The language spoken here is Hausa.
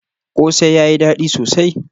Kose yayi dadi sosai?